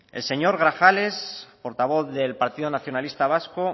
el señor grajales portavoz del partido nacionalista vasco